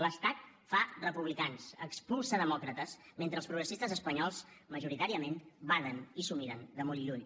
l’estat fa republicans expulsa demòcrates mentre els progressistes espanyols majoritàriament baden i s’ho miren de molt lluny